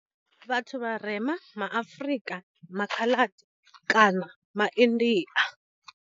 Vhathu vharema ma Afrika, ma Khaladi kana ma India.